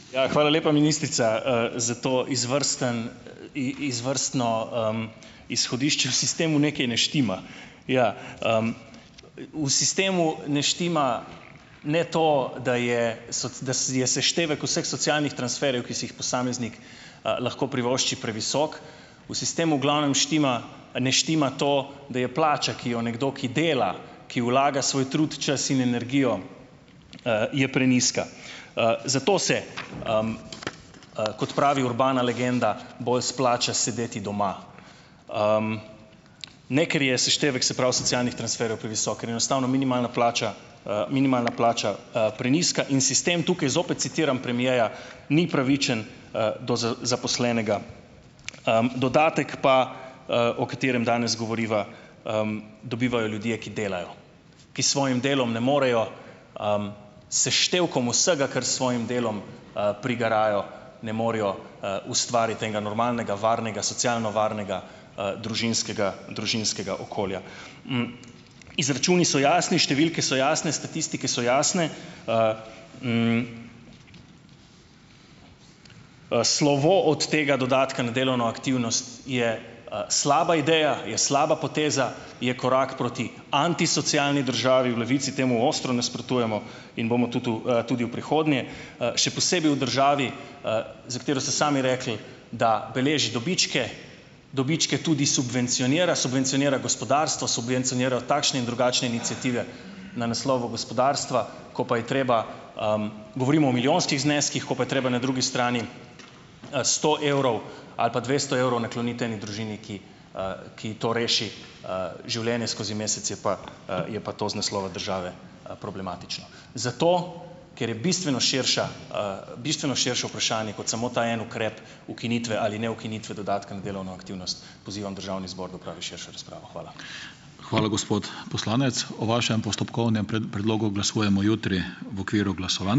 Ja, hvala lepa, ministrica, za to izvrsten, izvrstno, izhodišče, v sistemu nekaj ne štima. Ja, v sistemu ne štima ne to, da je da je seštevek vseh socialnih transferjev, ki si jih posameznik, lahko privošči, previsok. V sistemu glavnem štima, ne štima to, da je plača, ki jo nekdo, ki dela, ki vlaga svoj trud, čas in energijo, je prenizka. zato se, kot pravi urbana legenda, bolj splača sedeti doma. ne ker je seštevek, se pravi, socialnih transferjev previsok, ker je enostavno minimalna plača, minimalna plača, prenizka, in sistem tukaj, zopet citiram premierja, ni pravičen, do zaposlenega. dodatek pa, o katerem danes govoriva, dobivajo ljudje, ki delajo. Ki svojim delom ne morejo, seštevkom vsega, kar s svojim delom, prigarajo, ne morejo, ustvariti enega normalnega, varnega, socialno varnega, družinskega, družinskega okolja. Izračuni so jasni, številke so jasne, statistike so jasne, slovo od tega dodatka na delovno aktivnost je, slaba ideja, je slaba poteza, je korak proti antisocialni državi, v Levici temu ostro nasprotujemo in bomo tudi v, bomo tudi v prihodnje, še posebej v državi, za katero ste sami rekli, da beleži dobičke, dobičke tudi subvencionira, subvencionira gospodarstvo, subvencionira takšne in drugačne iniciative na naslovu gospodarstva, ko pa je treba, govorimo o milijonskih zneskih, ko pa je treba na drugi strani, sto evrov ali pa dvesto evrov nakloniti eni družini, ki, ki to reši, življenje skozi mesec, je pa, je pa to iz naslova države, problematično. Zato, ker je bistveno širša, bistveno širše vprašanje, kot samo ta en ukrep ukinitve ali neukinitve dodatka na delovno aktivnost, pozivam državni zbor, da opravi širšo razpravo. Hvala. Hvala, gospod poslanec. O vašem postopkovnem predlogu glasujemo jutri v okviru glasovanj.